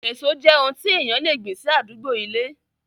Èso jẹ́ oun tí èèyàn le gbìn sí àdúgbó ilé